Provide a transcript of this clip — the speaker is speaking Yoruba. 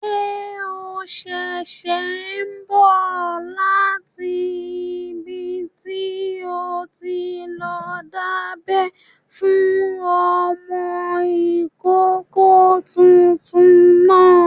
Ṣé o ṣẹ̀ṣẹ̀ n bọ̀ láti ibi tí o ti lọ dábẹ́ fún ọmọkọ́kọ́ tuntun náà?